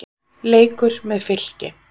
Leikur með Fylki.